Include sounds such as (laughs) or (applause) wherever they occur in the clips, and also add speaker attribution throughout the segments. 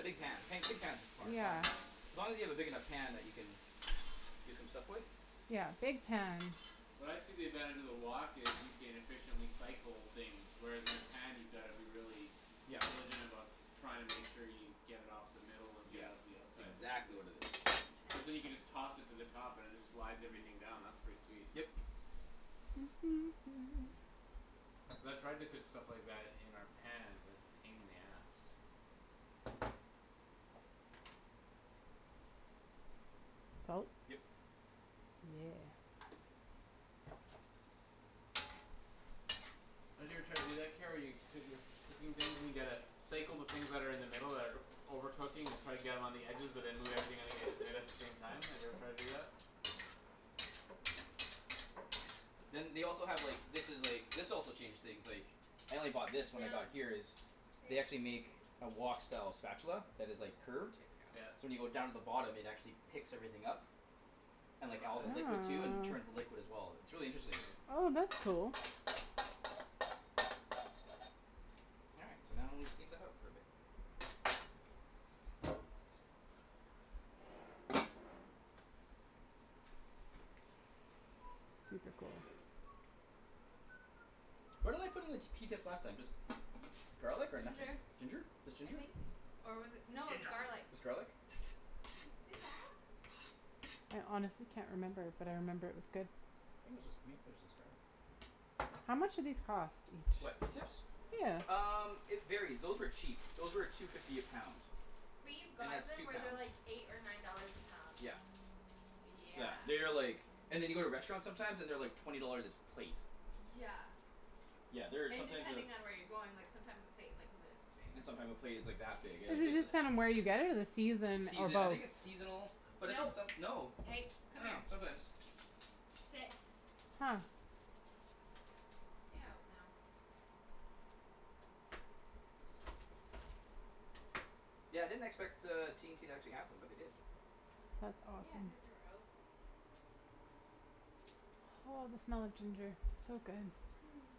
Speaker 1: big pan, pan, big pans is fun, fun.
Speaker 2: Yeah.
Speaker 1: As long as you have a big enough pan that you can do some stuff with.
Speaker 2: Yeah, big pans.
Speaker 3: What I see the advantage of the wok is you can efficiently cycle things, whereas in a pan you gotta be really
Speaker 1: Yeah.
Speaker 3: diligent about trying to make sure you get it off the middle and get it
Speaker 1: Yeah,
Speaker 3: out to the
Speaker 1: it's
Speaker 3: outside,
Speaker 1: exactly
Speaker 3: basically.
Speaker 1: what it is.
Speaker 3: Cuz then you can just toss it to the top and it just slides everything down; that's pretty sweet.
Speaker 1: Yep.
Speaker 2: (noise)
Speaker 3: Cuz I've tried to cook stuff like that in our pans and it's a pain in the ass.
Speaker 2: Salt.
Speaker 1: Yep.
Speaker 2: Yeah.
Speaker 3: Don't you ever try to do that, Kara, where coo- you're cooking things and you gotta cycle the things that are in the middle that are over cooking and try to get them on the edges but then move everything on the edges in at the
Speaker 4: (laughs)
Speaker 3: same time, have you every tried to do that?
Speaker 1: Then they also have, like, this is like, this also changed things, like I only bought this when I got
Speaker 4: Down.
Speaker 1: here is They
Speaker 4: Hey.
Speaker 1: actually make a wok style spatula that is, like,
Speaker 4: Good girl.
Speaker 1: curved
Speaker 3: Yeah.
Speaker 1: so when you go down to the bottom it actually picks everything up and, like,
Speaker 3: Oh,
Speaker 1: all the
Speaker 3: nice.
Speaker 1: liquid too and turns
Speaker 2: (noise)
Speaker 1: the liquid as well. It's really interesting.
Speaker 3: Interesting.
Speaker 2: Oh, that's cool.
Speaker 1: All right, so now we steam that out for a bit.
Speaker 2: Super cool.
Speaker 1: What did I put in the t- pea
Speaker 3: (noise)
Speaker 1: tips last time, just garlic or
Speaker 4: Ginger,
Speaker 1: nothing? Ginger? Just
Speaker 4: I
Speaker 1: ginger?
Speaker 4: think. Or was it, no, it was
Speaker 3: Ginja
Speaker 4: garlic.
Speaker 1: It was garlic?
Speaker 4: (inaudible)
Speaker 2: I honestly can't remember but I remember it was good.
Speaker 1: I think it was just, maybe it was just garlic.
Speaker 2: How much do these cost?
Speaker 1: What, pea tips?
Speaker 2: Yeah.
Speaker 1: Um, it varies; those were cheap. Those were two fifty a pound.
Speaker 4: We've
Speaker 1: And
Speaker 4: gotten
Speaker 1: that's
Speaker 4: them
Speaker 1: two
Speaker 4: where they're,
Speaker 1: pounds.
Speaker 4: like, eight or nine dollars a pound.
Speaker 1: Yeah.
Speaker 4: Yeah.
Speaker 1: Yeah, they are like and
Speaker 3: (noise)
Speaker 1: then you go to restaurants sometimes and they're, like, twenty dollars a plate.
Speaker 4: Yeah.
Speaker 1: Yeah, they're
Speaker 4: And
Speaker 1: sometimes uh
Speaker 4: depending on where you're going, like, sometimes the plate's, like, this big.
Speaker 1: and sometime a plate is like that big you're,
Speaker 2: Is
Speaker 4: Is
Speaker 1: like,
Speaker 2: it
Speaker 1: its
Speaker 4: like this.
Speaker 1: just
Speaker 2: just kinda where you get it or the
Speaker 1: It's
Speaker 2: season or
Speaker 1: season, I
Speaker 2: both?
Speaker 1: think it's seasonal. But I think
Speaker 4: No,
Speaker 1: some, no.
Speaker 4: hey,
Speaker 1: I
Speaker 4: come
Speaker 1: don't
Speaker 4: here.
Speaker 1: know, sometimes.
Speaker 4: Sit.
Speaker 2: Huh.
Speaker 4: Stay out now.
Speaker 1: Yeah, I didn't expect, uh, T and T to actually have them but they did.
Speaker 2: That's
Speaker 4: Yeah, I
Speaker 2: awesome.
Speaker 4: thought they were out.
Speaker 2: Oh, the smell of ginger. It's so good.
Speaker 4: Hmm.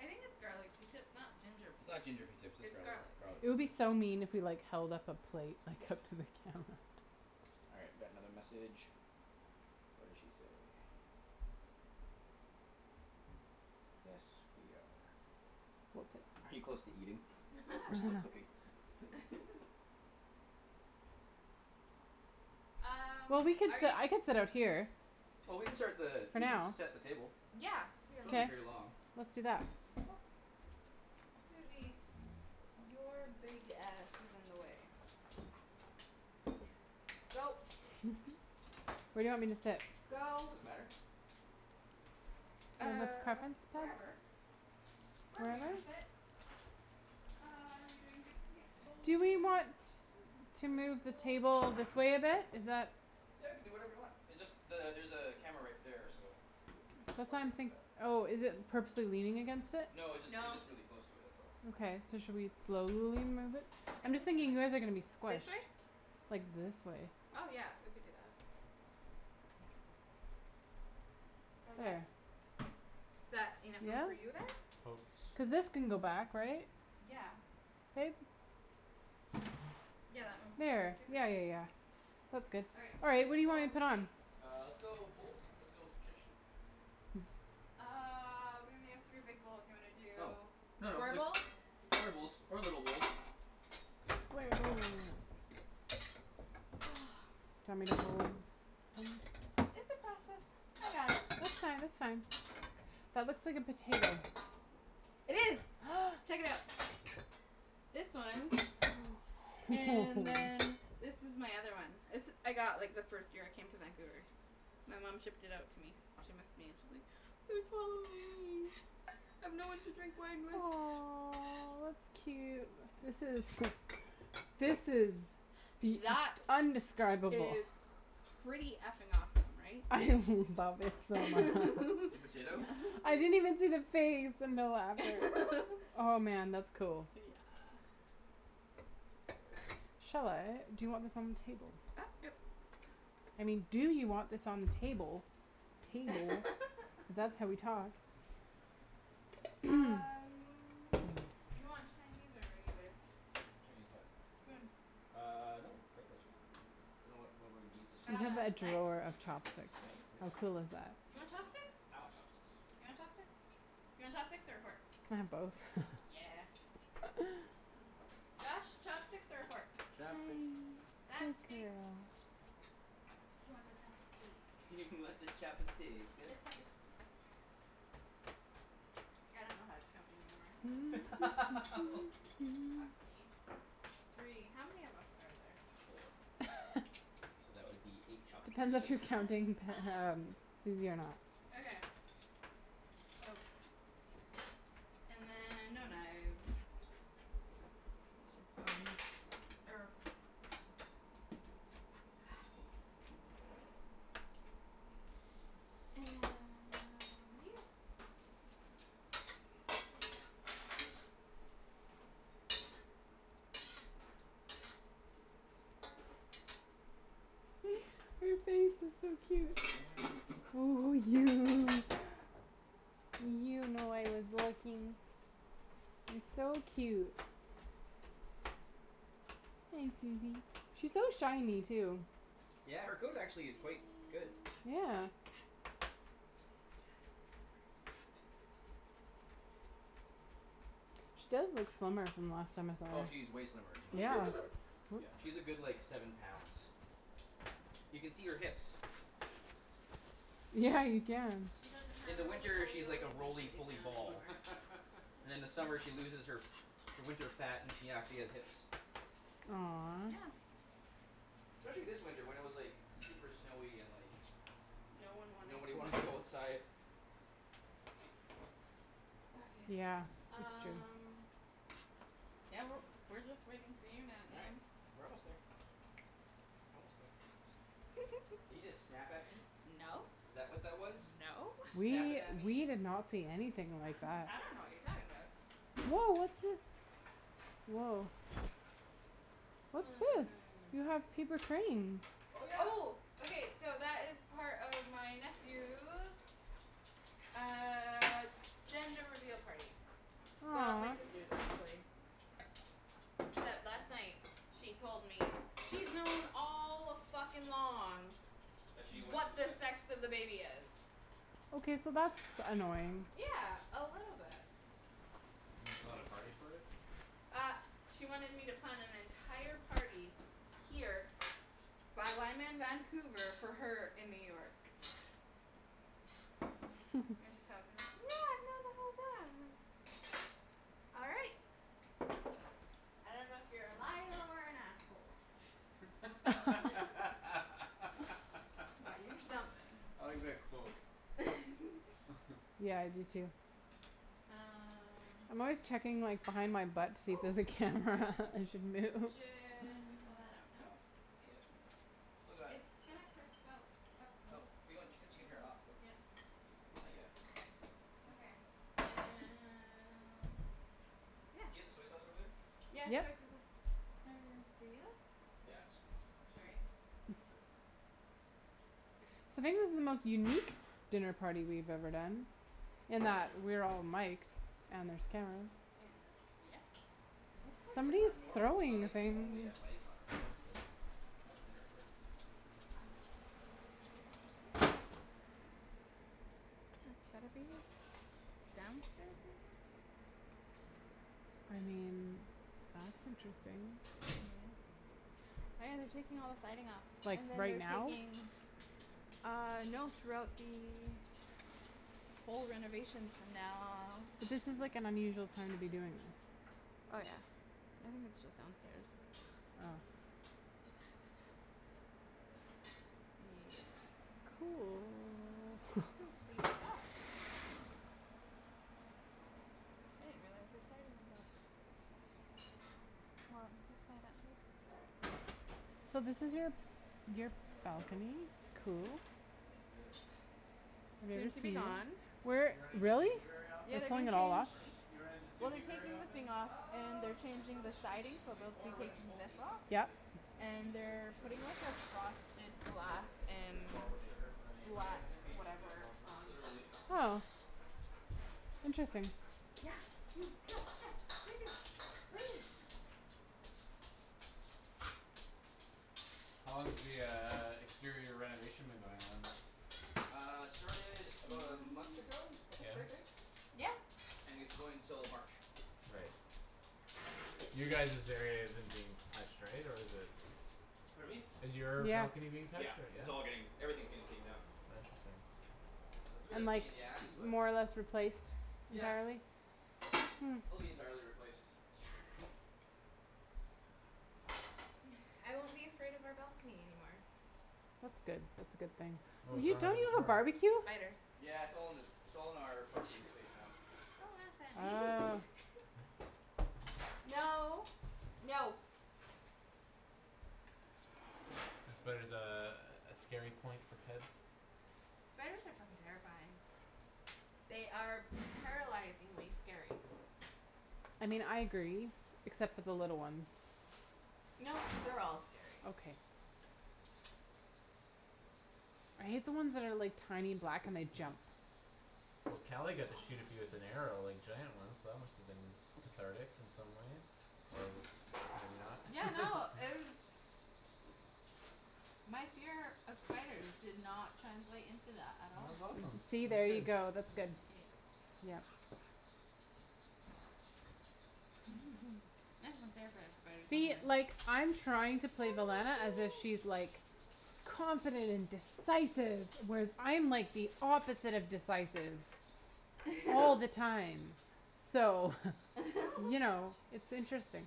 Speaker 4: I think its garlic pea tips, not ginger
Speaker 1: It's
Speaker 4: pea
Speaker 1: not
Speaker 4: tips.
Speaker 1: ginger pea tips; its
Speaker 4: It's
Speaker 1: garlic,
Speaker 4: garlic.
Speaker 1: garlic
Speaker 2: It would
Speaker 1: pea
Speaker 2: be
Speaker 1: tips.
Speaker 2: so mean if we, like, held up a plate, like, up to the camera.
Speaker 1: All right, we got another message. What did she say? Yes, we are. Are you close to eating? We're still cooking.
Speaker 2: (inaudible)
Speaker 4: (laughs)
Speaker 1: (laughs)
Speaker 4: Um,
Speaker 2: Well, we could
Speaker 4: are
Speaker 2: sit,
Speaker 4: you
Speaker 2: I could sit out here.
Speaker 1: Well, we can start the,
Speaker 2: For
Speaker 1: we can
Speaker 2: now.
Speaker 1: set the table.
Speaker 4: Yeah, here.
Speaker 1: So won't be
Speaker 2: K.
Speaker 1: very long.
Speaker 2: Let's do that.
Speaker 4: Oop- Susie. Your big ass is in the way. Go.
Speaker 2: (laughs) Where do you want me to sit?
Speaker 4: Go.
Speaker 1: Doesn't matter.
Speaker 2: You have a
Speaker 4: Uh,
Speaker 2: preference?
Speaker 4: wherever. Wherever you wanna
Speaker 2: Wherever?
Speaker 4: sit. Uh, are we doing big plates,
Speaker 2: Do we
Speaker 4: bowls?
Speaker 2: want to
Speaker 4: (inaudible)
Speaker 2: move the
Speaker 4: bowls, plates.
Speaker 2: table this way a bit? Is that
Speaker 1: Yeah, you can do whatever you want. It just the- there's a camera right there, so. Just
Speaker 2: That's why
Speaker 1: watch
Speaker 2: I'm
Speaker 1: out for
Speaker 2: think-
Speaker 1: that.
Speaker 2: Oh, is it purposely leaning against it?
Speaker 1: No, it jus- it's
Speaker 4: No.
Speaker 1: just really close to it; that's all.
Speaker 2: Okay, so should we slowly move it? I'm just thinking you guys are gonna be
Speaker 4: (inaudible) this
Speaker 2: squished.
Speaker 4: way?
Speaker 2: Like this way.
Speaker 4: Oh, yeah, we could do that. How's that?
Speaker 2: There.
Speaker 4: Is that enough room for
Speaker 2: Yeah?
Speaker 4: you there?
Speaker 3: Coats.
Speaker 2: Cuz this can go back, right?
Speaker 4: Yeah.
Speaker 2: (inaudible)
Speaker 4: Yeah, that moves
Speaker 2: There.
Speaker 4: super
Speaker 2: Yeah, yeah,
Speaker 4: easy.
Speaker 2: yeah. That's good.
Speaker 4: All right,
Speaker 2: All right.
Speaker 4: plates
Speaker 2: What
Speaker 4: or
Speaker 2: do you want me
Speaker 4: bowls.
Speaker 2: to put
Speaker 4: Plates.
Speaker 2: on?
Speaker 1: Uh, let's go with bowls. Let's go traditional.
Speaker 4: Uh, we may have three big bowls. You wanna
Speaker 1: Oh.
Speaker 4: do
Speaker 1: No, no,
Speaker 4: square
Speaker 1: like
Speaker 4: bowls?
Speaker 1: square bowls or little bowls.
Speaker 4: (noise)
Speaker 2: Do you want me to hold some-
Speaker 4: It's a process. I got it. It's
Speaker 2: That's
Speaker 4: fine.
Speaker 2: fine,
Speaker 4: It's
Speaker 2: that's
Speaker 4: fine.
Speaker 2: fine. That looks like a potato.
Speaker 4: It is.
Speaker 2: (noise)
Speaker 4: (noise) Check it out. This one. And
Speaker 2: (laughs)
Speaker 4: then this is my other one. This I got, like, the first year I came to Vancouver. My mom shipped it out to me. She missed me and she's like "It's Halloween. I have no one to drink wine with."
Speaker 2: Aw, that's cute. This is This is Bea-
Speaker 4: That
Speaker 2: t- undescribable.
Speaker 4: is pretty f- ing awesome, right?
Speaker 2: I (laughs) love it so mu- (laughs)
Speaker 1: The
Speaker 4: (laughs)
Speaker 1: potato?
Speaker 2: I didn't even see the face. (inaudible)
Speaker 4: (laughs)
Speaker 2: Oh, man, that's cool.
Speaker 4: Yeah.
Speaker 2: Shall I? Do you want this on the table? I mean, do you want this on the table, table,
Speaker 4: (laughs)
Speaker 2: cuz that's how we talk. (noise)
Speaker 4: Um, you want Chinese or regular?
Speaker 1: Chinese what?
Speaker 4: Spoon.
Speaker 1: Ah, no, regular's fine. (inaudible)
Speaker 2: You have
Speaker 4: Uh,
Speaker 2: a
Speaker 4: knife?
Speaker 2: drawer of chopsticks.
Speaker 1: Knife? For
Speaker 2: How cool is
Speaker 1: what?
Speaker 2: that.
Speaker 4: You want chopsticks?
Speaker 1: I want chopsticks.
Speaker 4: You want chopsticks? You want chopsticks or a fork?
Speaker 2: Can I have both? (laughs)
Speaker 4: Yeah.
Speaker 2: (noise)
Speaker 4: Josh, chopsticks or a fork?
Speaker 2: Hey,
Speaker 3: Chopsticks.
Speaker 2: good
Speaker 4: Chopsticks.
Speaker 2: girl.
Speaker 4: You want the chopstick.
Speaker 1: You (laughs) want the chop a stick
Speaker 4: The
Speaker 1: uh.
Speaker 4: chop a steek. I don't know how to count anymore.
Speaker 1: (laughs)
Speaker 4: Fuck
Speaker 2: (noise)
Speaker 4: me. Three, how many of us are there?
Speaker 1: Four.
Speaker 2: (laughs)
Speaker 4: (laughs)
Speaker 1: So that would be eight chopsticks.
Speaker 2: Depends if you're counting Pe- um
Speaker 4: (inaudible)
Speaker 2: Susie or not.
Speaker 4: Okay. So. And then no knives. Which is fine or And (inaudible)
Speaker 2: (noise) Her face is so cute.
Speaker 1: (noise)
Speaker 2: Oh, you. You know I was looking. It's so cute. Hey Susie. She's so shiny too.
Speaker 1: Yeah, her coat actually is quite good.
Speaker 2: Yeah. She does look slimmer from the last time I saw
Speaker 1: Oh,
Speaker 2: her,
Speaker 1: she's way slimmer then last that you
Speaker 2: yeah.
Speaker 1: saw her.
Speaker 4: (laughs)
Speaker 2: Whoops.
Speaker 1: Yeah, she's a good, like, seven pounds. You can see her hips.
Speaker 2: Yeah, you can.
Speaker 4: She doesn't
Speaker 1: In
Speaker 4: have
Speaker 1: the
Speaker 4: Rolie
Speaker 1: winter,
Speaker 4: Polie
Speaker 1: she's like a
Speaker 4: Ollies when she
Speaker 1: Rolie
Speaker 4: lays
Speaker 1: Polie
Speaker 4: down
Speaker 1: ball.
Speaker 4: anymore.
Speaker 1: And then
Speaker 3: (laughs)
Speaker 1: in the summer she loses her her winter fat, and she actually has hips.
Speaker 2: Aw.
Speaker 4: Yeah.
Speaker 1: Especially this winter when it was, like super snowy and, like
Speaker 4: No one wanted
Speaker 1: nobody
Speaker 4: to
Speaker 1: wanted to go
Speaker 4: move.
Speaker 1: outside.
Speaker 4: Okay.
Speaker 2: Yeah, it's true.
Speaker 4: Um Yeah, we're, we're just wait for you now,
Speaker 1: All right,
Speaker 4: Ian.
Speaker 1: we're almost there. Almost there. Did
Speaker 4: (laughs)
Speaker 1: you just snap at me?
Speaker 4: No.
Speaker 1: Is that what that was?
Speaker 4: No.
Speaker 1: You snappin'
Speaker 2: We,
Speaker 1: at
Speaker 2: we
Speaker 1: me?
Speaker 2: did not see anything like that.
Speaker 4: I don't know what you're talking about.
Speaker 2: Woah, what's this? Woah. What's this? You have
Speaker 4: Um.
Speaker 2: paper cranes.
Speaker 1: Oh, yeah.
Speaker 4: Oh. Okay, so that is part of my nephew's uh gender reveal party. Well, my
Speaker 2: Aw.
Speaker 4: sister's, actually. Except last night she told me she's known all a-fuckin'-long
Speaker 1: That she knew what she
Speaker 4: what
Speaker 1: was
Speaker 4: the
Speaker 1: having.
Speaker 4: sex of the baby is.
Speaker 2: Okay, so that's annoying.
Speaker 4: Yeah, a little bit.
Speaker 3: And you (inaudible) a party for it?
Speaker 4: Uh she wanted me to plan an entire party here while I'm in Vancouver for her in New York.
Speaker 2: (laughs)
Speaker 4: Then she tells me, like, "No, I've known the whole time." All right. I don't know if you're a liar or an asshole.
Speaker 3: (laughs) I
Speaker 2: (laughs)
Speaker 4: (laughs) But you're something.
Speaker 3: like that quote.
Speaker 4: (laughs)
Speaker 3: (laughs)
Speaker 2: Yeah, I do too.
Speaker 4: Um
Speaker 2: I'm always checking, like, behind my butt to see if
Speaker 4: Oh.
Speaker 2: there's a
Speaker 1: Yep.
Speaker 2: camera (laughs) and should move.
Speaker 4: Should we pull that out now?
Speaker 1: No, not yet. Still got a
Speaker 4: It's gonna
Speaker 1: cup- (inaudible)
Speaker 4: (inaudible)
Speaker 1: her off though.
Speaker 4: Yeah.
Speaker 1: Not yet.
Speaker 4: Okay, and Yeah.
Speaker 1: Do you have the soy sauce over there?
Speaker 4: Yeah, soy
Speaker 2: Yep.
Speaker 4: sauce's (inaudible)
Speaker 1: Yeah, it's, it's a.
Speaker 4: Sorry.
Speaker 1: (inaudible) No, it's all right.
Speaker 2: So maybe this is the most unique dinner party we've ever done in that we're all miked and there's cameras.
Speaker 4: Yeah, yep.
Speaker 1: Yeah, it's
Speaker 4: Somebody's
Speaker 2: Somebody's
Speaker 1: not normal. It's
Speaker 4: throwing
Speaker 1: not
Speaker 4: the
Speaker 2: throwing
Speaker 1: like we
Speaker 4: thing.
Speaker 1: normally
Speaker 2: things.
Speaker 1: have mikes on ourselves to have a dinner party. All
Speaker 4: That's
Speaker 1: right, so
Speaker 4: gotta be
Speaker 1: that's that.
Speaker 4: downstairs neighbor?
Speaker 2: I mean, that's interesting.
Speaker 4: Oh, yeah, they're taking all the siding off.
Speaker 2: Like,
Speaker 4: And then
Speaker 2: right
Speaker 4: they're
Speaker 2: now?
Speaker 4: taking Uh, no, throughout the whole renovation's from now
Speaker 2: Cuz this is, like, an unusual time to be doing this.
Speaker 4: Oh, yeah, I think it's just downstairs.
Speaker 2: Oh.
Speaker 4: Yeah.
Speaker 2: Cool.
Speaker 4: It's completely off. I didn't realize their siding was off. Well (inaudible)
Speaker 1: All right.
Speaker 2: So this is your, your
Speaker 1: One more to go.
Speaker 2: balcony, cool.
Speaker 1: And we're good.
Speaker 4: Soon to be
Speaker 1: This one's gonna
Speaker 4: gone.
Speaker 1: be quick.
Speaker 2: (inaudible)
Speaker 3: You run into
Speaker 2: Really?
Speaker 3: (inaudible) very
Speaker 2: They're
Speaker 4: Yeah,
Speaker 3: often?
Speaker 4: they're
Speaker 2: pulling
Speaker 4: gonna
Speaker 2: it all off?
Speaker 4: change
Speaker 1: Pardon me?
Speaker 3: Do you run into
Speaker 4: Well,
Speaker 3: (inaudible)
Speaker 4: they're
Speaker 3: very
Speaker 4: taking the
Speaker 3: often?
Speaker 4: thing off. And they're
Speaker 1: Um, just on
Speaker 4: changing
Speaker 1: the
Speaker 4: the
Speaker 1: street
Speaker 4: siding so
Speaker 1: usually,
Speaker 4: they'll be
Speaker 1: or when
Speaker 3: Yeah.
Speaker 1: we
Speaker 4: taking
Speaker 1: both
Speaker 4: this
Speaker 1: need
Speaker 4: off.
Speaker 1: something,
Speaker 2: Yep.
Speaker 1: like if she
Speaker 4: And
Speaker 1: needs, like,
Speaker 4: they're putting
Speaker 1: sugar or
Speaker 4: like
Speaker 1: I
Speaker 4: a
Speaker 1: need, like
Speaker 4: frosted
Speaker 3: You
Speaker 4: glass
Speaker 1: garlic or something like
Speaker 3: b-
Speaker 4: and
Speaker 1: that we'll,
Speaker 3: borrow
Speaker 1: like
Speaker 3: sugar from the neighbour type
Speaker 1: Yeah,
Speaker 4: black
Speaker 3: of thing? That's,
Speaker 1: basically.
Speaker 3: that's
Speaker 4: whatever
Speaker 3: awesome.
Speaker 4: on.
Speaker 1: Literally.
Speaker 2: Oh.
Speaker 3: (laughs)
Speaker 2: Interesting.
Speaker 4: Yeah, you, yeah, yeah, what are you doing? What are you doing?
Speaker 3: How long has the uh exterior renovation been going on?
Speaker 1: Uh, started about a month ago,
Speaker 4: (noise)
Speaker 1: I
Speaker 3: Yeah?
Speaker 1: think? Right, babe?
Speaker 4: Yeah.
Speaker 1: And it's going till March.
Speaker 3: Right. You guys's area isn't being touched, right, or is it?
Speaker 1: Pardon me?
Speaker 3: Is your balcony being touched
Speaker 1: Yeah,
Speaker 3: or? Yeah?
Speaker 1: it's all getting, everything's getting taken down.
Speaker 3: Oh, interesting.
Speaker 1: That's a bit
Speaker 2: and
Speaker 1: of a
Speaker 2: like
Speaker 1: pain in the ass, but.
Speaker 2: more or less replaced
Speaker 1: Yeah.
Speaker 2: entirely
Speaker 1: It'll be entirely replaced.
Speaker 4: Yes. I won't be afraid of our balcony anymore.
Speaker 2: That's good. That's a good thing.
Speaker 3: What was
Speaker 2: You,
Speaker 3: wrong with
Speaker 2: don't
Speaker 3: it
Speaker 2: you have a
Speaker 3: before?
Speaker 2: barbeque?
Speaker 4: Spiders.
Speaker 1: Yeah, it's all in the, it's all in our parking space now.
Speaker 2: Oh.
Speaker 4: No. No.
Speaker 3: Spider's a, a scary point for Ped?
Speaker 4: Spiders are fucking terrifying. They are paralyzingly scary.
Speaker 2: I mean, I agree except for the little ones.
Speaker 4: No, they're all scary.
Speaker 2: Okay. I hate the ones that are, like, tiny black and they jump.
Speaker 3: Well, Kali got to shoot a few with an arrow, like, giant ones so that musta been cathartic in some ways or maybe not.
Speaker 4: Yeah, no,
Speaker 3: (laughs)
Speaker 4: it was My fear of spiders did not translate into that at all.
Speaker 3: That's awesome;
Speaker 2: See?
Speaker 3: that's
Speaker 2: There you
Speaker 3: good.
Speaker 2: go; that's good.
Speaker 4: Eh.
Speaker 2: Yep.
Speaker 4: (laughs) (inaudible) spider
Speaker 2: See?
Speaker 4: somewhere.
Speaker 2: Like, I'm trying to play (inaudible) as if she's,
Speaker 4: (inaudible)
Speaker 2: like confident and decisive whereas I'm like the opposite of decisive all the time.
Speaker 4: (laughs)
Speaker 2: So, you know,
Speaker 4: (laughs)
Speaker 2: it's interesting.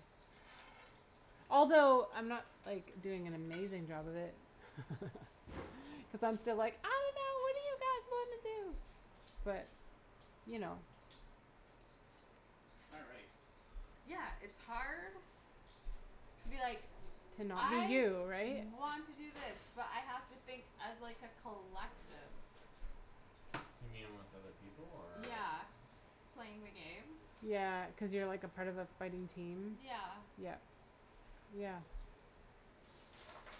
Speaker 2: Although I'm not, like, doing an amazing job of it. Cuz I'm still like, "I don't know; what do you guys wanna do" but you know.
Speaker 1: All right.
Speaker 4: Yeah, it's hard to be like
Speaker 2: To not be
Speaker 4: "I
Speaker 2: you, right?
Speaker 4: want to do this but I have to think as, like, a collective."
Speaker 3: You mean with other people, or?
Speaker 4: Yeah, playing the game.
Speaker 2: Yeah, cuz you're, like, a part of a fighting team?
Speaker 4: Yeah.
Speaker 2: Yeah. Yeah.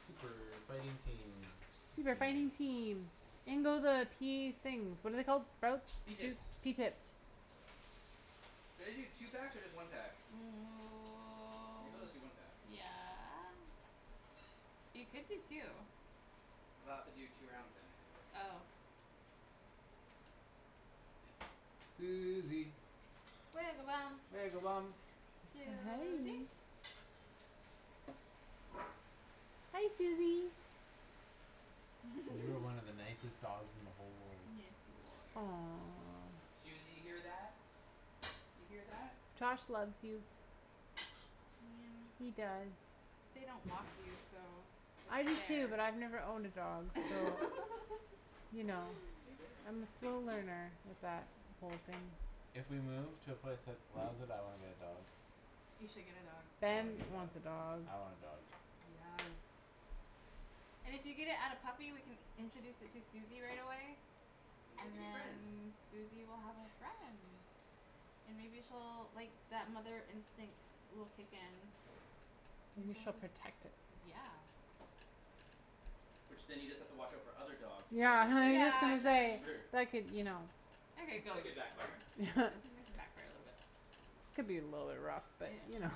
Speaker 3: Super fighting team, that's
Speaker 2: Super
Speaker 3: your
Speaker 2: fighting
Speaker 3: name.
Speaker 2: team. In go the pea things. What are they called? Sprouts? Pea
Speaker 1: Pea
Speaker 2: tips?
Speaker 1: tips.
Speaker 2: Pea tips.
Speaker 1: Should I do two packs or just one pack? Maybe I'll just do one pack.
Speaker 4: (noise) Yeah. You could do two.
Speaker 1: Then I'll have to do two rounds then, I think.
Speaker 4: Oh.
Speaker 3: Susie.
Speaker 4: (inaudible)
Speaker 3: (inaudible)
Speaker 4: Susie.
Speaker 2: Hi. Hi, Susie.
Speaker 3: You're one of the
Speaker 4: (laughs)
Speaker 3: nicest dogs in the whole world.
Speaker 4: Yes, you are.
Speaker 1: Susie,
Speaker 2: Aw.
Speaker 1: you hear that? You hear that?
Speaker 2: Josh loves you. (inaudible) He does.
Speaker 4: They don't walk you so
Speaker 2: I
Speaker 4: it's
Speaker 2: do too,
Speaker 4: fair.
Speaker 2: but I've never owned a dog so
Speaker 4: (laughs)
Speaker 2: you know.
Speaker 1: Hey, there.
Speaker 2: I'm still a learner with that whole thing.
Speaker 3: If we move to a place that allows it, I wanna get a dog.
Speaker 4: You should get a dog.
Speaker 3: I
Speaker 2: Ben
Speaker 3: wanna get a dog.
Speaker 2: wants a dog.
Speaker 3: I want a dog.
Speaker 4: And if you get it at a puppy we can introduce it to Susie right away.
Speaker 1: Then they
Speaker 4: And
Speaker 1: could be friends.
Speaker 4: then Susie will have a friend. And maybe she'll, like, that mother instinct will kick in.
Speaker 2: Maybe she'll protect it.
Speaker 4: (inaudible) Yeah.
Speaker 1: Which then you just have to watch our for other dogs playing
Speaker 2: Yeah,
Speaker 1: with
Speaker 2: was
Speaker 1: it
Speaker 2: just
Speaker 1: because
Speaker 4: Yeah,
Speaker 1: then
Speaker 2: gonna
Speaker 4: and
Speaker 1: you're kinda
Speaker 2: say,
Speaker 4: then
Speaker 1: screwed.
Speaker 2: that could, you know
Speaker 4: (inaudible)
Speaker 1: That could backfire.
Speaker 2: (laughs)
Speaker 4: back for a little bit.
Speaker 2: Could be a little bit rough, but, you
Speaker 4: Yeah.
Speaker 2: know.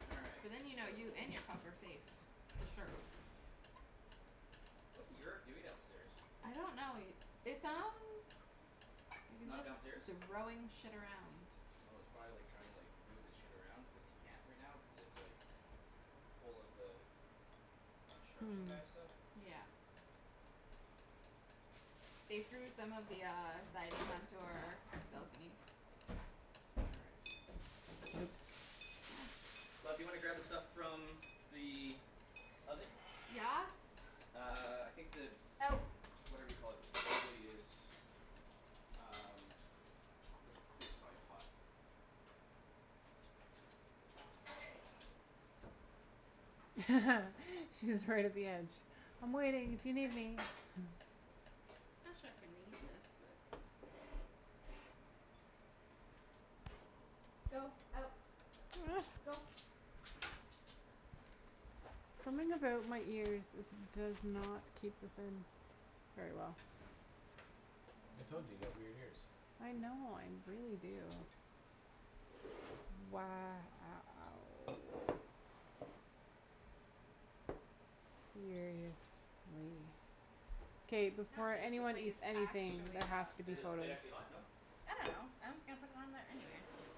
Speaker 1: All
Speaker 4: So
Speaker 1: right,
Speaker 4: then you know you
Speaker 1: so.
Speaker 4: and your pup are safe for sure.
Speaker 1: What's Yerk doing downstairs?
Speaker 4: I don't know it, it sounds like he's
Speaker 1: Not
Speaker 4: just
Speaker 1: downstairs?
Speaker 4: throwing shit around.
Speaker 1: Oh, he's probably, like, trying to, like move his shit around cuz he can't right now, cuz it's, like full of the construction
Speaker 2: Hmm.
Speaker 1: guy stuff.
Speaker 4: Yeah. They threw some of the uh siding onto our balcony.
Speaker 1: All right.
Speaker 2: Oops.
Speaker 4: Ah.
Speaker 1: Love, do you wanna grab the stuff from the oven?
Speaker 4: Yes.
Speaker 1: Uh, I think the
Speaker 4: Out.
Speaker 1: whatever you call it probably is Um. (inaudible) probably hot.
Speaker 4: (noise)
Speaker 2: (laughs) She's right at the edge. "I'm waiting if you need
Speaker 4: (noise)
Speaker 2: me." (noise)
Speaker 4: I'm not sure if we need this, but. Go. Out.
Speaker 2: (noise)
Speaker 4: Go.
Speaker 2: Something about my ears is, does not keep this in. Very well.
Speaker 3: I told you you got
Speaker 4: (noise)
Speaker 3: weird ears.
Speaker 2: I know, I really do.
Speaker 1: All right, sweet.
Speaker 2: K,
Speaker 4: I'm not
Speaker 2: before
Speaker 4: sure the
Speaker 2: anyone
Speaker 4: plate is
Speaker 2: eats anything,
Speaker 4: actually
Speaker 2: there has
Speaker 4: hot
Speaker 2: to be
Speaker 1: Is
Speaker 4: but
Speaker 1: the
Speaker 2: photos.
Speaker 1: plate actually hot? No?
Speaker 4: I don't know. I'm just gonna put it on there anyway.
Speaker 1: Okay.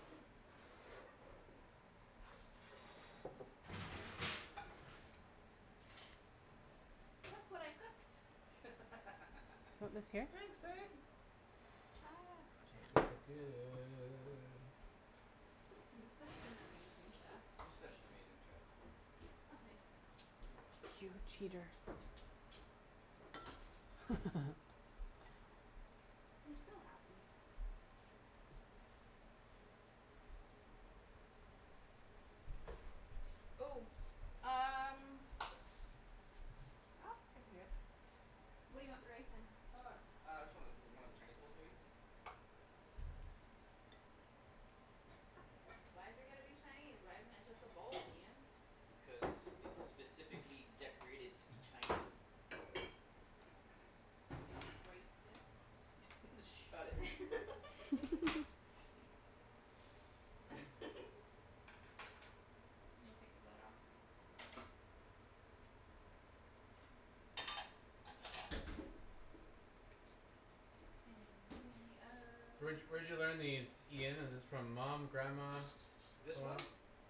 Speaker 4: Look what I cooked.
Speaker 2: What was
Speaker 1: (laughs)
Speaker 2: here?
Speaker 4: Ah, wash your
Speaker 3: It does
Speaker 4: hands.
Speaker 3: look good.
Speaker 4: I'm such an amazing chef.
Speaker 1: You're such an amazing chef.
Speaker 4: Oh, thanks,
Speaker 1: You're
Speaker 4: Ian.
Speaker 1: welcome.
Speaker 2: You're a cheater. (laughs)
Speaker 3: (laughs)
Speaker 4: You're so happy. Ooh, um
Speaker 1: What's up?
Speaker 4: Nope, I can do it. What do you want the rice in?
Speaker 1: Uh, j- uh, just one of, o- one of the Chinese bowls, maybe?
Speaker 4: Why's it gotta be Chinese? Why isn't it just a bowl, Ian?
Speaker 1: Cuz it's specifically decorated to be
Speaker 3: (noise)
Speaker 1: Chinese.
Speaker 4: Y'all
Speaker 1: T- (laughs) Shut
Speaker 4: racist.
Speaker 1: it.
Speaker 4: (laughs)
Speaker 2: (laughs)
Speaker 3: (noise)
Speaker 4: (laughs) I'm gonna take the lid off. And in the
Speaker 3: So where'd
Speaker 4: ove-
Speaker 3: y- where'd you learn these, Ian, is this from mom, grandma,
Speaker 1: This
Speaker 3: someone
Speaker 1: one?
Speaker 3: else?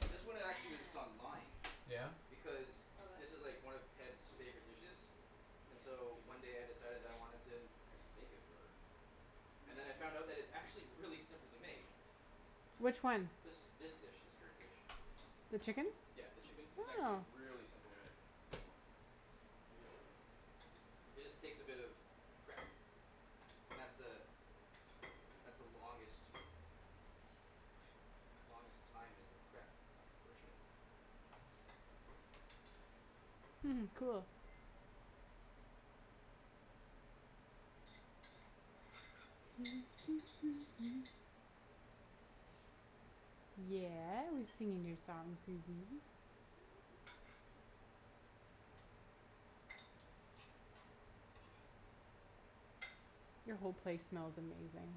Speaker 1: This
Speaker 4: From
Speaker 1: one, it actually was just
Speaker 4: grams.
Speaker 1: online.
Speaker 3: Yeah?
Speaker 1: Because
Speaker 4: Oh,
Speaker 1: this is like
Speaker 4: this?
Speaker 1: one of Ped's favorite dishes. And so one
Speaker 4: Yeah.
Speaker 1: day I decided I wanted to make it for her. And then I found that it's actually really simple to make.
Speaker 2: Which one?
Speaker 1: This, this dish. This current dish.
Speaker 2: The chicken?
Speaker 1: Yeah, the chicken, it's actually
Speaker 2: Oh.
Speaker 1: really simple to make. It just takes a bit of prep. And that's the that's the longest longest time is the prep portion.
Speaker 2: Hmm, cool. (noise) Yeah, we're singing your song, Susie.
Speaker 4: (laughs)
Speaker 2: Your whole place smells amazing.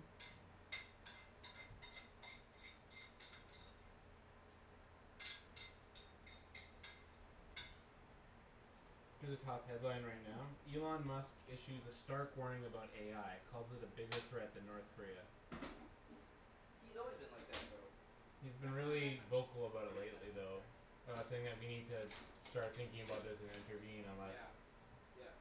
Speaker 3: Here's a top headline right now, Elon Musk issues a stark warning about AI calls it a bigger threat than North Korea.
Speaker 1: He's always been like that though.
Speaker 3: He's been
Speaker 4: Front one or back
Speaker 3: really
Speaker 4: one?
Speaker 3: vocal about it
Speaker 1: Pardon me? That's
Speaker 3: lately
Speaker 1: fine, right
Speaker 3: though.
Speaker 1: there.
Speaker 3: About saying that we need to start thinking about this and intervene unless
Speaker 1: Yeah, yep.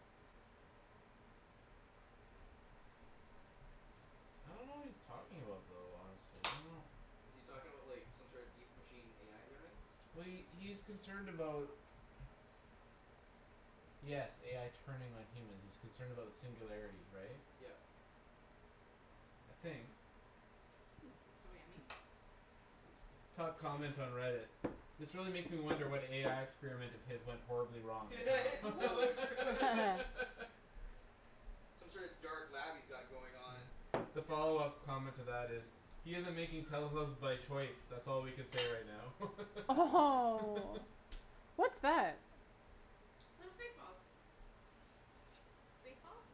Speaker 3: I don't know what he's talking about though, honestly. I don't know
Speaker 1: Is he talking about, like, some sort deep machine AI learning?
Speaker 3: Well, he, he's concerned about Yes, AI turning on humans; he's concerned about the singularity, right?
Speaker 1: Yep.
Speaker 3: I think.
Speaker 4: (noise) It's so yummy.
Speaker 3: Top comment on Reddit. "This really makes me wonder what AI experiment of his went horribly
Speaker 1: (laughs)
Speaker 3: wrong." (laughs)
Speaker 1: It's so true.
Speaker 2: (laughs)
Speaker 1: Some sort of dark lab he's got going on.
Speaker 3: The follow-up comment to that is "He's isn't making Teslas by choice. That's all we can say right now." (laughs)
Speaker 2: Oh, what's that?
Speaker 4: They're space balls. Space balls.